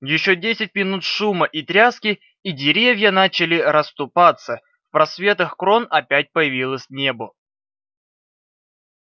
ещё десять минут шума и тряски и деревья начали расступаться в просветах крон опять появилось небо